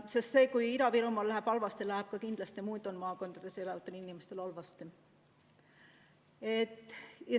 Sest kui Ida-Virumaal läheb halvasti, läheb kindlasti muudeski maakondades elavatel inimestel halvasti.